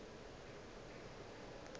ba be ba le gona